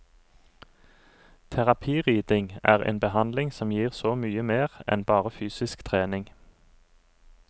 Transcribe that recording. Terapiridning er en behandling som gir så mye mer enn bare fysisk trening.